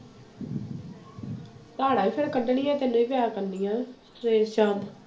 ਧਾਰਾਂ ਵੀ ਫਿਰ ਕੱਢਣੀਆਂ ਤੈਨੂੰ ਹੀ ਪਿਆ ਕਰਨੀਆਂ ਸਵੇਰੇ ਸ਼ਾਮ।